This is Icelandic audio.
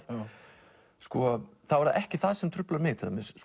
þá er það ekki það sem truflar mig